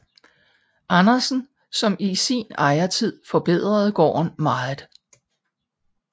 Andersen som i sin ejertid forbedrede gården meget